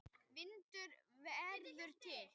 Vindur verður til.